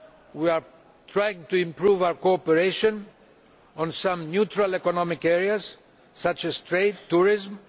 We are trying to improve our cooperation on some neutral economic areas such as trade and tourism.